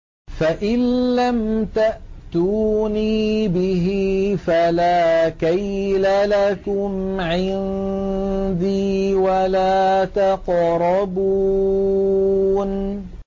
فَإِن لَّمْ تَأْتُونِي بِهِ فَلَا كَيْلَ لَكُمْ عِندِي وَلَا تَقْرَبُونِ